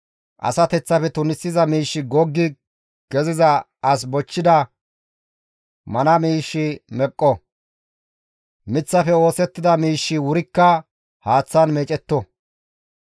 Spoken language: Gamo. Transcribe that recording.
Asateththafe tunisiza miishshi goggi keziza as bochchida mana miishshi meqqo; miththafe oosettida miishshi wurikka haaththan meecetto.